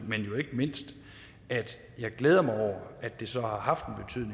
men jo ikke mindst at jeg glæder mig over at det så har haft